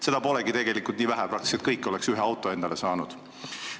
Seda polegi tegelikult nii vähe, peaaegu kõik arstid oleksid endale ühe auto saanud.